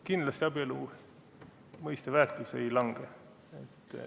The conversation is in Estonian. Kindlasti abielu mõiste väärtus ei lange.